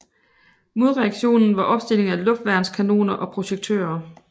Modreaktionen var opstilling af luftværnskanoner og projektører